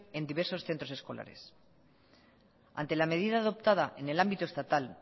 en diversos centros escolares ante la medida adoptada en el ámbito estatal